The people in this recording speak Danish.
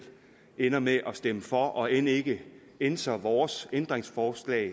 ender med at stemme for og end ikke ænser vores ændringsforslag